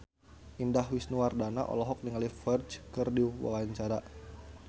Indah Wisnuwardana olohok ningali Ferdge keur diwawancara